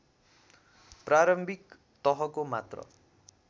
प्रारम्भिक तहको मात्र